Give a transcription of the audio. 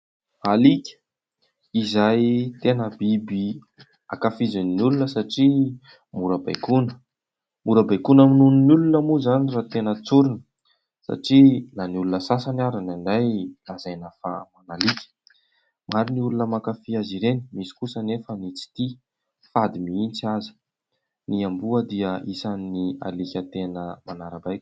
Alika ! Izay tena biby ankafizin'ny olona satria mora baikoana, mora baikona noho ny olona moa izany raha tena tsorina satria na ny olona sasany ary indraindray lazaina fa alika ; maro ny olona makafia azy ireny misy kosa anefa ny tsy tia, fady mihitsy aza. Ny amboa dia isan'ny alika tena manara-baiko.